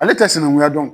Ale tɛ sinankunya dɔn